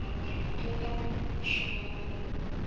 она работал там ещё полгода